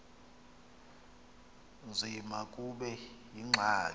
nzima kube yingxaki